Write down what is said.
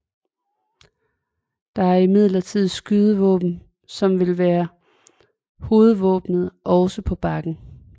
Det er imidlertid skydevåbenet som vil være hovedvåbenet også på bakken